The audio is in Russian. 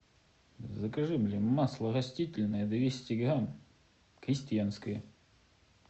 закажи блин масло растительное двести грамм крестьянское